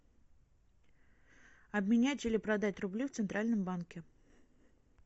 обменять или продать рубли в центральном банке